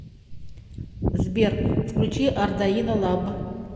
сбер включи ардаино лаб